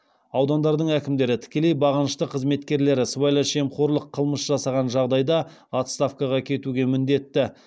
аудандардың әкімдері тікелей бағынышты қызметкерлері сыбайлас жемқорлық қылмыс жасаған жағдайда отставкаға кетуге міндетті